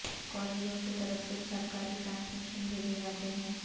کالجوں کی طرف سے سرکاری ٹرانسمیشن بھیجے جاتے ہیں